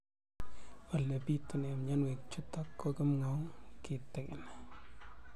Ole pitune mionwek chutok ko kimwau kitig'�n